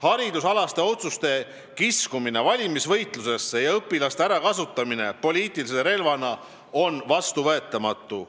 Haridusalaste otsuste kiskumine valimisvõitlusse ja õpilaste ärakasutamine poliitilise relvana on vastuvõetamatu.